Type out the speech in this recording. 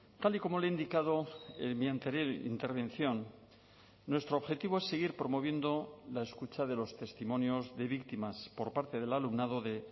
tal y como le he indicado en mi anterior intervención nuestro objetivo es seguir promoviendo la escucha de los testimonios de víctimas por parte del alumnado de